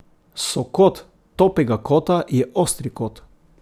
Sokot topega kota je ostri kot.